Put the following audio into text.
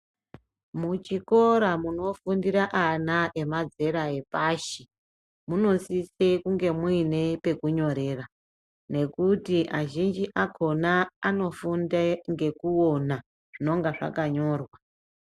Muchikora munofundire ana emazera epashi munosise kunge muine pekunyorera nekuti azhinji akhona anofunde ngekuona zvinonga zvakanyorwa.